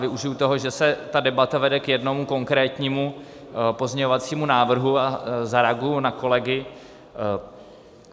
Využiji toho, že se ta debata vede k jednomu konkrétnímu pozměňovacímu návrhu, a zareaguji na kolegy.